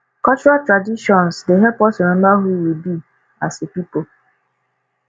cultural traditions dey help us remember who we be as a pipo